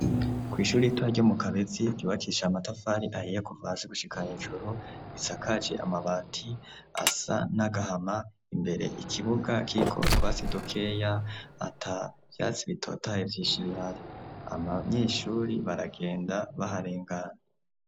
Kw'ishuri ritoya ryo mu kabezi ryubakisha amatafari ahiye kuva hasi gushika hejuru, risakaje amabati asa n'agahama, imbere ikibuga kiriko utwatsi dukeya ata vyatsi bitotahaye vyinshi bihari, abanyeshuri baragenda baharengana.